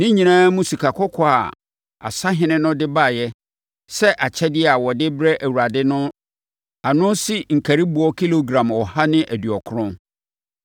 Ne nyinaa mu sikakɔkɔɔ a asahene no de baeɛ sɛ akyɛdeɛ a wɔde rebrɛ Awurade no ano si nkariboɔ kilogram ɔha ne aduɔkron.